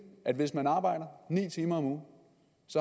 at hvis man arbejder ni timer om ugen